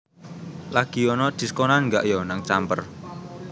Lagi onok diskonan gak yo nang Camper?